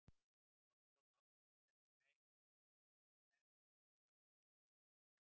Árni Páll Árnason: Það, ertu að meina sérstaklega varðandi Grímsstaði á Fjöllum, eða?